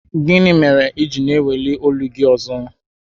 Gịnị mere i ji na-eweli olu gị ọzọ?